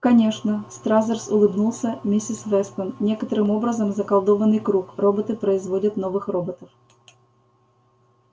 конечно стразерс улыбнулся миссис вестон некоторым образом заколдованный круг роботы производят новых роботов